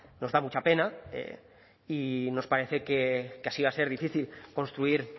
nos da mucha pena y nos parece que así va a ser difícil construir